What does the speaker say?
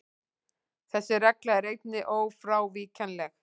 Þessi regla er einnig ófrávíkjanleg.